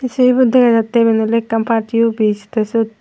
se ibot dega jatte iben ole ekkan party office te sut.